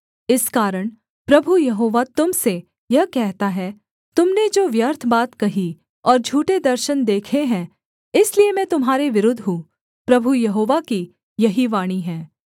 इस कारण प्रभु यहोवा तुम से यह कहता है तुम ने जो व्यर्थ बात कही और झूठे दर्शन देखे हैं इसलिए मैं तुम्हारे विरुद्ध हूँ प्रभु यहोवा की यही वाणी है